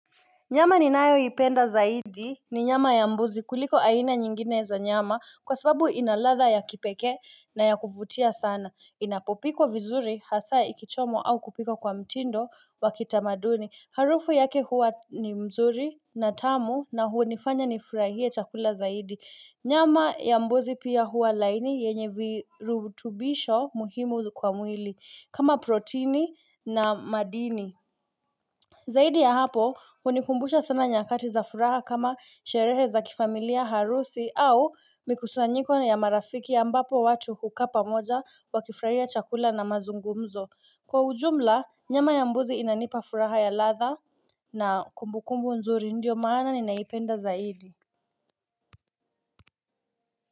Nyama ninayoipenda zaidi ni nyama ya mbuzi kuliko aina nyingine za nyama kwa sababu ina ladha ya kipekee na ya kuvutia sana inapopikwa vizuri hasa ikichomwa au kupikwa kwa mtindo wa kitamaduni harufu yake huwa ni mzuri na tamu na hunifanya nifurahie chakula zaidi nyama ya mbuzi pia huwa laini yenye virutubisho muhimu kwa mwili kama protini na madini Zaidi ya hapo hunikumbusha sana nyakati za furaha kama sherehe za kifamilia, harusi au mikusanyiko na marafiki ambapo watu hukaa pamoja wakifurahia chakula na mazungumzo. Kwa ujumla nyama ya mbuzi inanipa furaha ya ladha na kumbukumbu nzuri ndio maana ninaipenda zaidi.